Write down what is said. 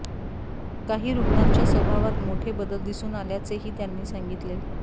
काही रुग्णांच्या स्वभावात मोठे बदल दिसून आल्याचेही त्यांनी सांगितले